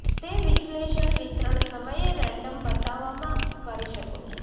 તે વિશ્લેષણ વિતરણ સમયે રેન્ડમ બતાવવામાં કરી શકો છો